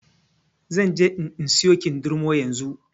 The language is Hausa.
Zanje in in siyo kindirmo yanzu.